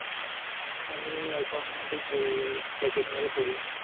আমি এখন degree second year এ পড়ি